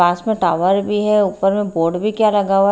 पास में टावर भी है ऊपर में बोर्ड भी क्या लगा हुआ--